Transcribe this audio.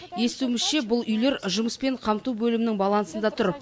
естуімізше бұл үйлер жұмыспен қамту бөлімінің балансында тұр